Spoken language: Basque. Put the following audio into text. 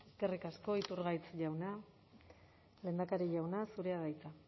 eskerrik asko iturgaiz jauna lehendakari jauna zurea da hitza